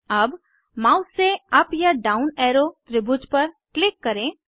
अब माउस से अप या डाउन एरो त्रिभुज पर क्लिक करें